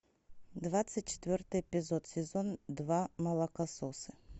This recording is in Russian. двадцать четвертый эпизод сезон два молокососы